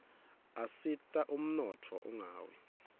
asita ummotfo unqawi